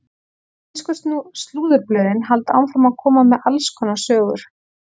Ensku slúðurblöðin halda áfram að koma með alls konar sögur.